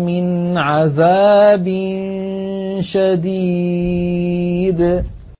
مِنْ عَذَابٍ شَدِيدٍ